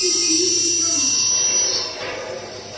Þín Íris Jóna.